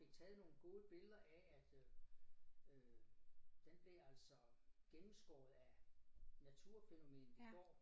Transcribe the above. Fik taget nogle gode billeder af at øh den blev altså gennemskåret af naturfænomen i går